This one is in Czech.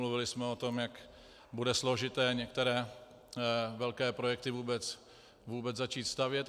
Mluvili jsme o tom, jak bude složité některé velké projekty vůbec začít stavět.